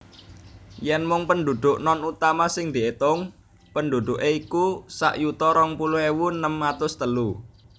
Yèn mung pendhudhuk non utama sing diétung pendhudhuké iku sak yuta rong puluh ewu enem atus telu